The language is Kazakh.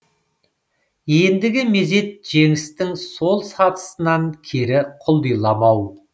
ендігі мезет жеңістің сол сатысынан кері құлдиламау